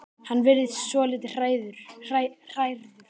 Hann virðist svolítið hrærður.